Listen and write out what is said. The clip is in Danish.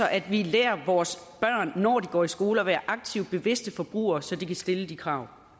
at vi lærer vores børn når de går i skole at være aktivt bevidste forbrugere så de kan stille de krav